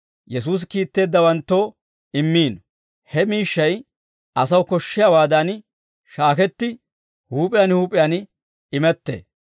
Yesuusi kiitteeddawanttoo immiino; he miishshay asaw koshshiyaawaadan shaaketti, huup'iyaan huup'iyaan imettee.